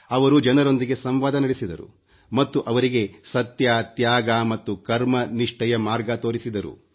ಅವರು ಜನರೊಂದಿಗೆ ಸಂವಾದ ನಡೆಸಿದರು ಮತ್ತು ಅವರಿಗೆ ಸತ್ಯ ತ್ಯಾಗ ಮತ್ತು ಕರ್ಮ ನಿಷ್ಠೆಯ ಮಾರ್ಗ ತೋರಿಸಿದರು